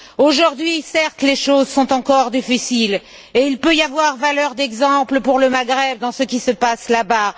Aujourd'hui, certes, les choses sont encore difficiles et il peut y avoir valeur d'exemple pour le Maghreb dans ce qui se passe là bas.